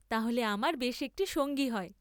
তাহলে আমার বেশ একটী সঙ্গী হয়।